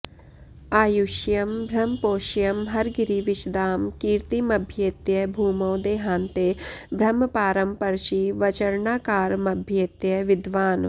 आयुष्यं ब्रह्मपोष्यं हरगिरिविशदां कीर्तिमभ्येत्य भूमौ देहान्ते ब्रह्मपारं परशिवचरणाकारमभ्येत्य विद्वान्